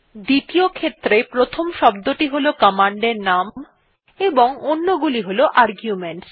দ্বিতীয ক্ষেত্রে প্রথম শব্দটি হল কমান্ডের প্রকৃত নাম এবং অন্যগুলি হল আর্গুমেন্টস